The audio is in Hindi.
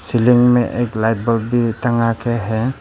सीलिंग में एक लाइट बल्ब भी टंगा के है।